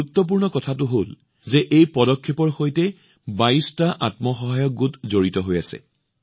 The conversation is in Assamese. বিশেষ কথাটো হল যে এই পদক্ষেপৰ সৈতে ২২ টা আত্মসহায়ক গোট জড়িত হৈ আছে